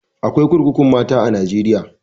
Eh, akwai kurkukun mata a Najeriya.